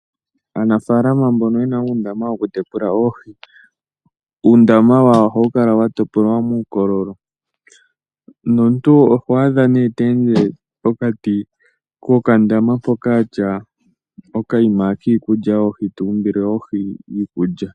Aanafalama mbono yena undama woku tekula oohi, uundama wawo ohayukala watopolwa mukololo , nontu oho adha ne tende pokati kokandama poka atya okayima kiikulya yoohi tumbile oohi iikulya.